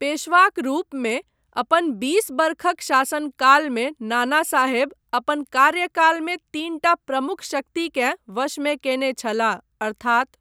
पेशवाक रूपमे अपन बीस वर्षक शासनकालमे नानासाहेब अपन कार्यकालमे तीनटा प्रमुख शक्तिकेँ वशमे कयने छलाह, अर्थात्।